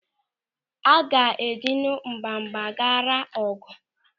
A ga-ejinu mgbagbu ghara ọgụ?